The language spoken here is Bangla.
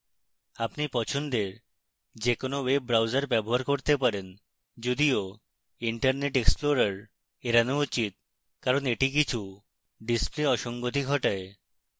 আপনি পছন্দের যে কোনো web browser ব্যবহার করতে পারেন